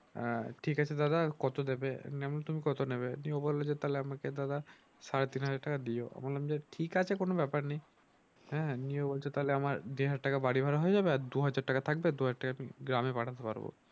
আহ ঠিক আছে দাদা কত দেবে? আমি বললাম তুমি কত নেবে? ও বললো যে তাহলে আমাকে দাদা সাড়ে তিন হাজার টাকা দিও আমি বললাম যে ঠিক আছে কোনো ব্যাপার নেই। আহ নিয়ে বলছে তাহলে আমার দেড় হাজার টাকা বাড়ি ভাড়া হয়ে যাবে আর দু হাজার টাকা থাকবে দু হাজার টাকা গ্রামে পাঠাতে পারবো।